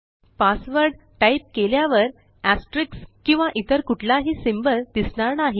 password type केल्यावर asterisk किंवा इतर कुठलाही सिम्बॉल दिसणार नाही